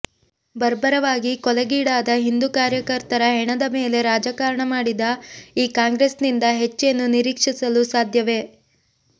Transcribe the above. ಬರ್ಬರವಾಗಿ ಕೊಲೆಗೀಡಾದ ಹಿಂದೂ ಕಾರ್ಯಕರ್ತರ ಹೆಣದ ಮೇಲೆ ರಾಜಕಾರಣ ಮಾಡಿದ ಈ ಕಾಂಗ್ರೆಸ್ ನಿಂದ ಹೆಚ್ಚೇನೂ ನಿರೀಕ್ಷಿಸಲು ಸಾಧ್ಯವೇ